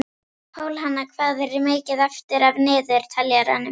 Pálhanna, hvað er mikið eftir af niðurteljaranum?